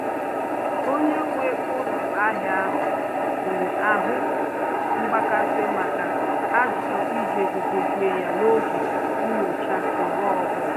Onye nwe ụlọ ahịa ahụ nwere ahụ mgbakasị maka ajụjụ iji ego dozie ya n'oge nnyocha mgbe ọbụla